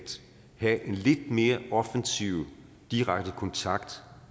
have en lidt mere offensiv direkte kontakt